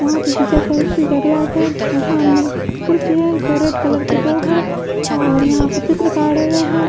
यहाँ पे पिक्चर फॉरेस्ट्री का ग्लास है और सामने कुर्सी है जो रेड कलर के दो है और यहाँ पे चित्रकार है।